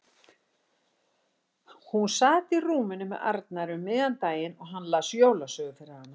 Hún sat á rúminu með Arnari um miðjan daginn og hann las jólasögu fyrir hana.